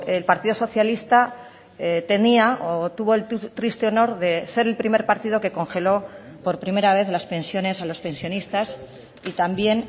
el partido socialista tenía o tuvo el triste honor de ser el primer partido que congeló por primera vez las pensiones a los pensionistas y también